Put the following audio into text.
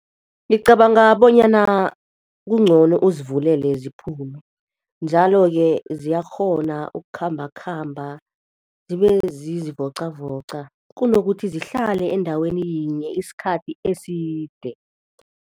Ngicabanga bonyana kungcono uzivulele ziphume, njalo-ke ziyakghona ukukhambakhamba zibe zizivocavoca, kunokuthi zihlale endaweni yinye isikhathi eside.